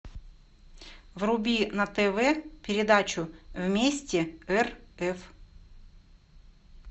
вруби на тв передачу вместе рф